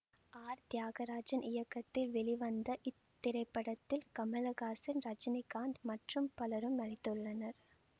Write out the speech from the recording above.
R Thiyagarajan இயக்கத்தில் வெளிவந்த இத்திரைப்படத்தில் கமலஹாசன் ரஜினிகாந்த் மற்றும் பலரும் நடித்துள்ளனர்